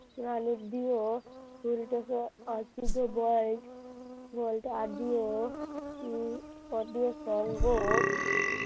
চুলটাকে সঙ্গ